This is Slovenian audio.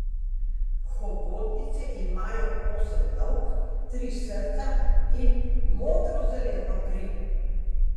Hobotnice imajo osem lovk, tri srca in modrozeleno kri.